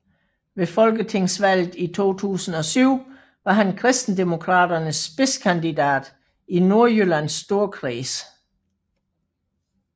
Ved folketingsvalget i 2007 var han Kristendemokraternes spidskandidat i Nordjyllands Storkreds